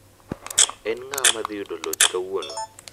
En ng'awa ma dhi yudo loch kawuono.